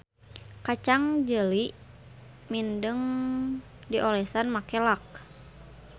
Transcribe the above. Kacang jeli mindeng diolesan make lak.